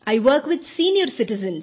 I work with senior citizens